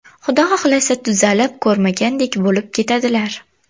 Xudo xohlasa tuzalib ko‘rmagandek bo‘lib ketadilar!